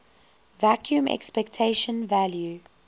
vacuum expectation value